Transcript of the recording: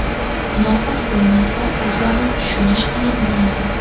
Muloqot bo‘lmasa, o‘zaro tushunish qiyin bo‘ladi.